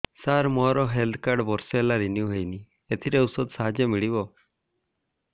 ସାର ମୋର health card ବର୍ଷେ ହେଲା ରିନିଓ ହେଇନି ଏଥିରେ ଔଷଧ ସାହାଯ୍ୟ ମିଳିବ